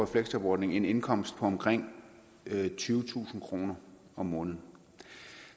fleksjobordningen en indkomst på omkring tyvetusind kroner om måneden